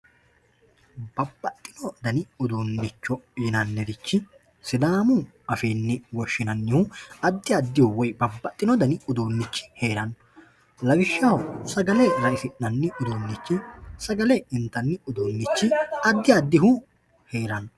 babbaxxino dani uduunnichi yinanniri sidaamu afiinni woshhsinannihu addi addi dani uduunnichi hee'ranno lawishshaho sagale raisi'nanni uduunnichi hee'ranno, sagale intannihu addi addi uduunnichi hee'ranno.